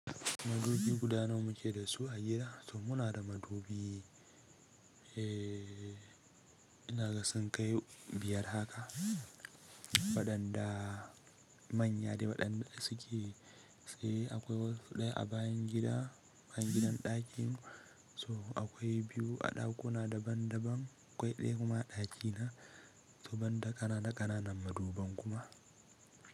Madubi guda nawa muke da su a gida? To muna da madubi, eh ina ga sun kai biyar haka. Waɗanda manya dai waɗanda suke tsaye akwai wasu ɗaya a bayan gida, bayan gidan ɗakin so akwai biyu a ɗakuna daban daban. Akwai ɗaya kuma a ɗakina. To banda ƙananan ƙananan maduban kuma.